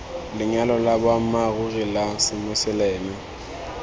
lenyalo la boammaaruri la semoseleme